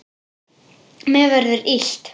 Mér verður illt.